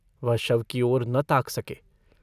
वह शव की ओर न ताक सके।